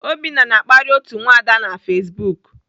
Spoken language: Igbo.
Obinna na-akparị otu nwada na Facebook.